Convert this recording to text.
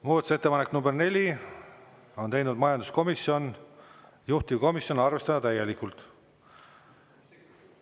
Muudatusettepanek nr 4, on teinud majanduskomisjon, juhtivkomisjon: arvestada täielikult.